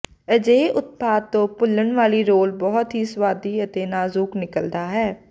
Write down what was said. ਅਜਿਹੇ ਉਤਪਾਦ ਤੋਂ ਭੁੰਲਨ ਵਾਲੀ ਰੋਲ ਬਹੁਤ ਹੀ ਸੁਆਦੀ ਅਤੇ ਨਾਜ਼ੁਕ ਨਿਕਲਦਾ ਹੈ